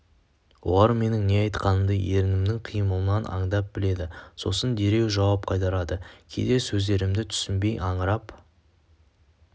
олар менің не айтқанымды ерінімнің қимылынан аңдап біледі сосын дереу жауап қайырады кейде сөздерімді түсінбей аңырап